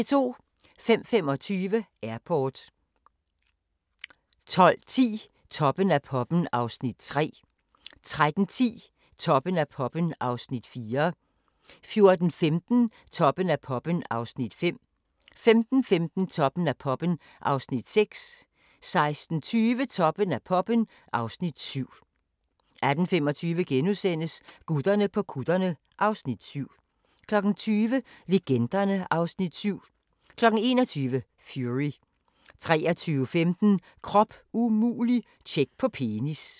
05:25: Airport 12:10: Toppen af poppen (Afs. 3) 13:10: Toppen af poppen (Afs. 4) 14:15: Toppen af poppen (Afs. 5) 15:15: Toppen af poppen (Afs. 6) 16:20: Toppen af poppen (Afs. 7) 18:25: Gutterne på kutterne (Afs. 7)* 20:00: Legenderne (Afs. 7) 21:00: Fury 23:15: Krop umulig - tjek på penis